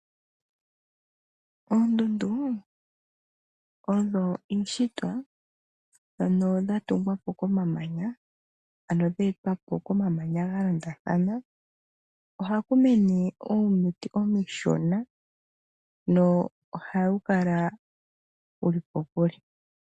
Oondundu odho iishitwa ano dhatungwa po komamanya ano dha etwa po komamanya galondathana, ohaku mene uumuti uushona na ohawu kala wuli kokule.